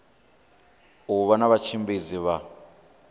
u vha na vhatshimbidzi vha